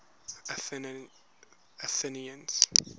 athenians